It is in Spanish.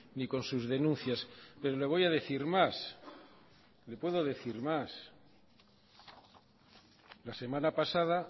ni con sus denuncias pero le voy a decir más le puedo decir más la semana pasada